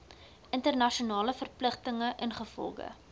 internasionale verpligtinge ingevolge